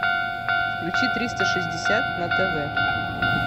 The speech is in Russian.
включи триста шестьдесят на тв